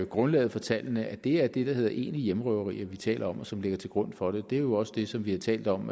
grundlaget for tallene at det er det der hedder egentlige hjemmerøverier vi taler om og som ligger til grund for dem det er jo også det som vi har talt om